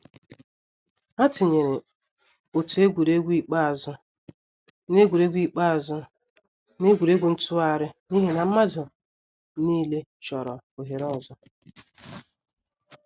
Ha tinyeere otu egwuregwu ikpeazụ n’egwuregwu ikpeazụ n’egwuregwu ntụgharị n’ihi na mmadụ niile chọrọ ohere ọzọ.